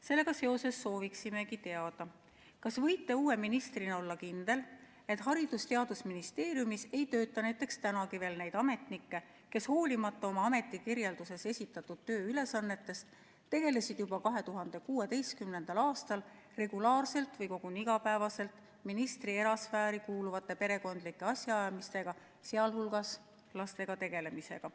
Sellega seoses sooviksimegi teada, kas võite uue ministrina olla kindel, et Haridus- ja Teadusministeeriumis ei tööta siiani neid ametnikke, kes hoolimata oma ametikirjelduses esitatud tööülesannetest tegelesid juba 2016. aastal regulaarselt või koguni iga päev ministri erasfääri kuuluvate perekondlike asjaajamistega, sh lastega tegelemisega.